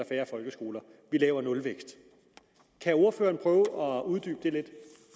færre folkeskoler vi laver nulvækst kan ordføreren prøve at uddybe det lidt